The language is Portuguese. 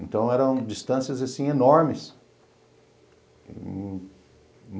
Então eram distâncias, assim, enormes.